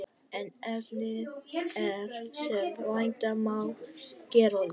En efnið er, sem vænta má, gerólíkt.